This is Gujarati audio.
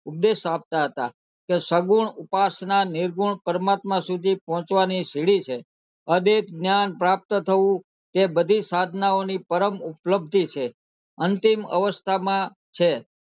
ઉપદેશ આપતા હતા તે સગુણ ઉપાસના નિર્ગુણ પરમાત્મા સુધી પહોંચવાની સીડી છે અદૈત જ્ઞાન પ્રાપ્ત થવું કે સાધનાઓની પરમ ઉપ્લ્પધી છે અંતિમ અવસ્થા માં છે